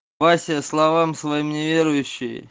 вася словам своим неверующий